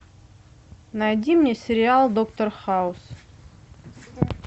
найди мне сериал доктор хаус